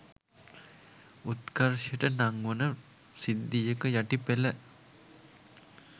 උත්කර්ෂයට නංවන සිද්ධියක යටි පෙළ